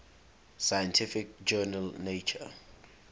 scientific journal nature